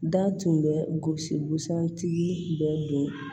Da tun bɛ gosi busan tigi bɛɛ don